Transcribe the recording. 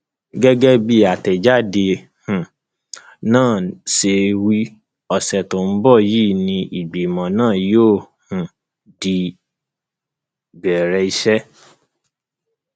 gẹgẹ bí àtẹjáde um náà ṣe wí ọṣẹ tó ń bọ yìí ni ìgbìmọ náà yóò um di bẹrẹ iṣẹ